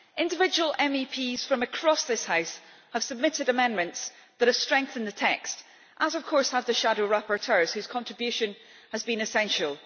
Individual MEPs from across this House have submitted amendments that have strengthened the text as, of course, have the shadow rapporteurs whose contribution has been essential.